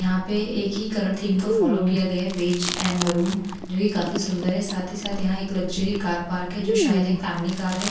यहां पे एक ही कलर थीम को फॉलो किया गया है बेज एंड मरून जो कि काफी सुंदर है साथ ही साथ यहां एक लग्जरी कार पार्क है जो शायद एक फैमिली कार है।